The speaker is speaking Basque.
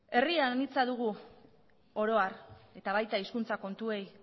herri anitza dugu oro har eta baita hizkuntza kontuei